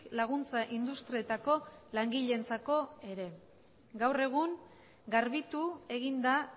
laguntza industrietako langileentzako ere gaur egun garbitu egin da